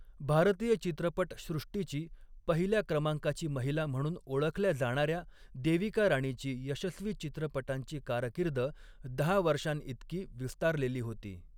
भारतीय चित्रपटसृष्टीची पहिल्या क्रमांकाची महिला म्हणून ओळखल्या जाणाऱ्या देविका राणीची यशस्वी चित्रपटांची कारकीर्द दहा वर्षांइतकी विस्तारलेली होती.